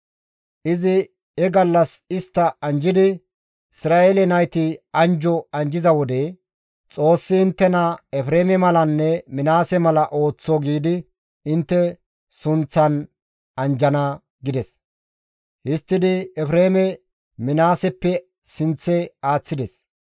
Izi he gallas istta anjjidi, «Isra7eele nayti anjjo anjjiza wode, ‹Xoossi inttena Efreeme malanne Minaase mala ooththo› giidi intte sunththan anjjana» gides. Histtidi Efreeme Minaaseppe sinththe aaththides.